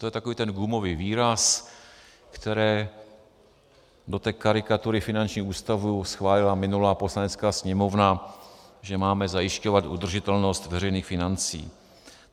- To je takový ten gumový výraz, který do té karikatury finančních ústavů schválila minulá Poslanecká sněmovna, že máme zajišťovat udržitelnost veřejných financí.